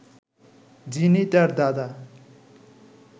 যিনি তাঁর দাদা